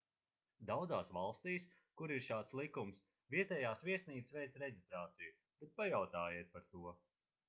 daudzās valstīs kur ir šāds likums vietējās viesnīcas veic reģistrāciju bet pajautājiet par to